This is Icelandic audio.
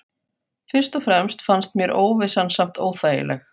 Fyrst og fremst fannst mér óvissan samt óþægileg.